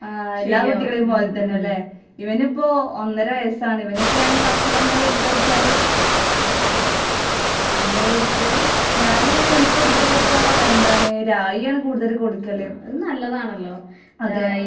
എല്ലാ കുട്ടികളെയും പോലെ തന്നെ അല്ലേ. ഇവനിപ്പോ ഒന്നര വയസ്സാണ് ഇവനിപ്പോ ഞാന് ഭക്ഷണം എന്താ കൊടുക്കാ വച്ചാല്, ഞാന് അവനിക്ക് കൊടുക്കല് ഇപ്പൊ, എന്താണ് റായി ആണ് കൂടുതല് കൊടുക്കല്. അതെ.